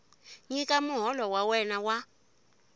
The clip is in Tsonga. nyika muholo wa wena wa